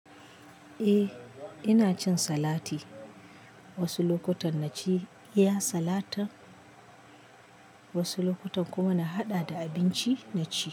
Eh ina cin salati. Wasu lokutan na ci iya salatin, wasu lokutan kuma na haɗa da abinci na ci.